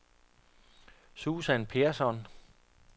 Susan Persson